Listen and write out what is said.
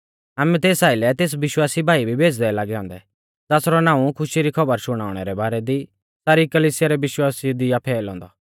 आमै तेस आइलै तेस विश्वासी भाई भी भेज़दै लागै औन्दै ज़ासरौ नाऊं खुशी री खौबर शुणाउणै रै बारै दी सारी कलिसिया रै विश्वासिऊ दी आ फौइलौ औन्दौ